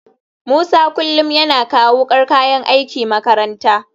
Musa kullum yana kawo wukar kayan aiki makaranta